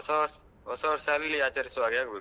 ಹೊಸ ವರ್ಷ ಹೊಸ ವರ್ಷ ಅಲ್ಲಿ ಆಚರಿಸುವಾಗೆ ಆಗ್ಬೇಕು.